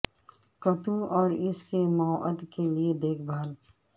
کتوں اور اس کے مواد کے لئے دیکھ بھال